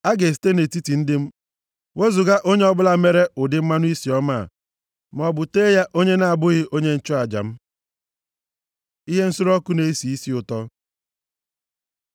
A ga-esite nʼetiti ndị m wezuga onye ọbụla mere ụdị mmanụ isi ọma a, maọbụ tee ya onye na-abụghị onye nchụaja m.’ ” Ihe nsure ọkụ na-esi isi ụtọ